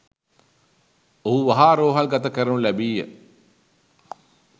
ඔහු වහා රෝහල් ගත කරනු ලැබීය